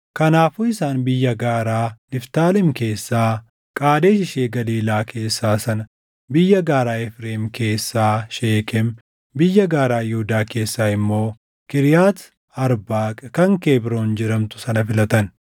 Kanaafuu isaan biyya gaaraa Niftaalem keessaa Qaadesh ishee Galiilaa keessaa sana, biyya gaaraa Efreem keessaa Sheekem, biyya gaaraa Yihuudaa keessaa immoo Kiriyaati Arbaaq kan Kebroon jedhamtu sana filatan.